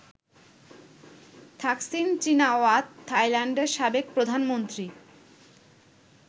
Thaksin Shinawatra থাইল্যান্ডের সাবেক প্রধানমন্ত্রী।